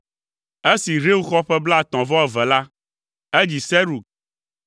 Esi Reu xɔ ƒe blaetɔ̃-vɔ-eve la, edzi Serug.